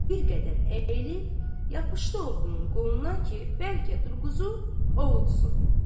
Bir qədər əyilib yapışdı oğlunun qolundan ki, bəlkə durquzu ovutsun.